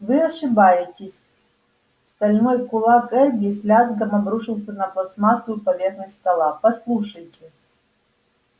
вы ошибаетесь стальной кулак эрби с лязгом обрушился на пластмассу поверхность стола послушайте